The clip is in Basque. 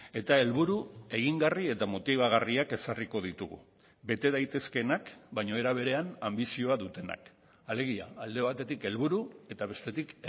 eta helburu egingarri eta motibagarriak ezarriko ditugu bete daitezkeenak baina era berean anbizioa dutenak alegia alde batetik helburu eta bestetik